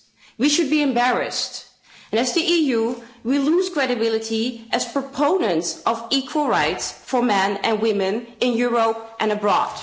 We should be embarrassed, and as the EU we lose credibility as proponents of equal rights for men and women in Europe and abroad.